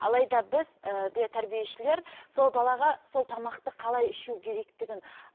алайда біз ііі тәрбиешілер сол балаға сол тамақты қалай ішу керектігін